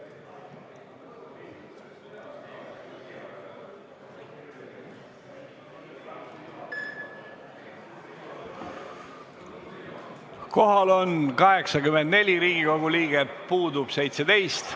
Kohaloleku kontroll Kohal on 84 Riigikogu liiget, puudub 17.